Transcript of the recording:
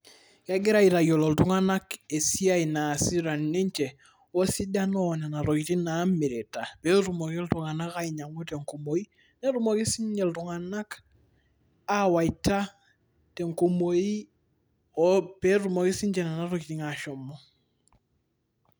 kegirae aitayiolo iltunganak esiai naasita ninche wesidano oo nena tokiting' naamirita pee tumoki ltung'anak ainyang'u tenkumoki netumoki siiniche ltung'anak awaita tenkumoi ,pee etumoki sii ninche nena tokiting' ashomo.